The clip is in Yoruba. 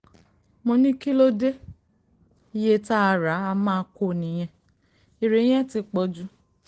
mo ní kí ló dé iye tá a rà á má kó nìyẹn eré yẹn ti pọ̀ jù